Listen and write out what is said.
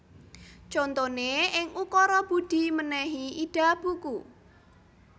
Contoné ing ukara Budi mènèhi Ida buku